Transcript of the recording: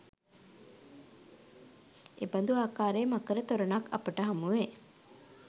එබඳු ආකාරයේ මකර තොරණක් අපට හමුවේ.